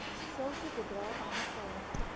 sulke bedrae bymekaar